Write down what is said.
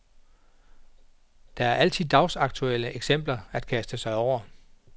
Der er altid dagsaktuelle eksempler at kaste sig over.